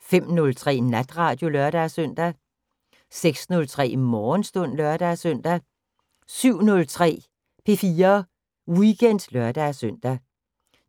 05:03: Natradio (lør-søn) 06:03: Morgenstund (lør-søn) 07:03: P4 Weekend (lør-søn)